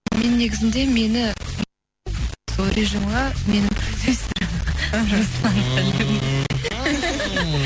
мен негізінде мені сол режимға менің продюсерім іхі